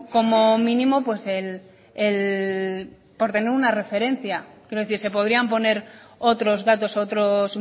como mínimo pues el por tener una referencia es decir se podrían poner otros datos u otros